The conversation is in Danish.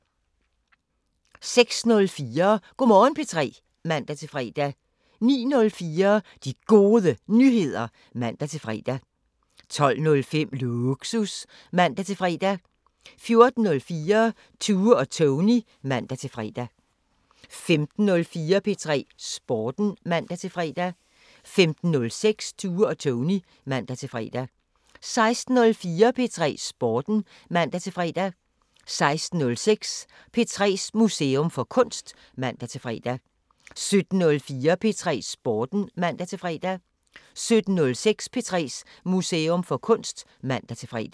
06:04: Go' Morgen P3 (man-fre) 09:04: De Gode Nyheder (man-fre) 12:05: Lågsus (man-fre) 14:04: Tue og Tony (man-fre) 15:04: P3 Sporten (man-fre) 15:06: Tue og Tony (man-fre) 16:04: P3 Sporten (man-fre) 16:06: P3's Museum for Kunst (man-fre) 17:04: P3 Sporten (man-fre) 17:06: P3's Museum for Kunst (man-fre)